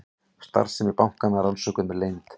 Starfsemi bankanna rannsökuð með leynd